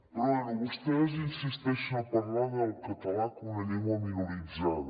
però bé vostès insisteixen a parlar del català com una llengua minoritzada